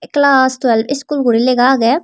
klass twelve schol guri legha agey.